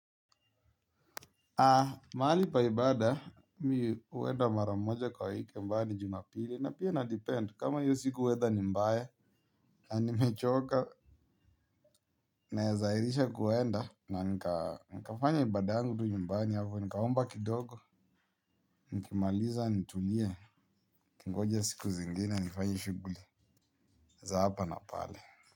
Mahali paibada mimi huenda maramoja kwa wiki ambaye ni jumapili na pia inadepend kama hiyo siku weather ni mbaya na nimechoka nawezaairisha kuenda nanikaa nikafanya ibadayangu tu nyumbani hapo nikaomba kidogo nikimaliza nitulie nikingoja siku zingine nifanye shughuli za hapa na pale.